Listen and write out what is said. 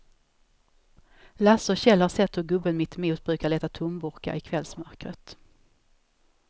Lasse och Kjell har sett hur gubben mittemot brukar leta tomburkar i kvällsmörkret.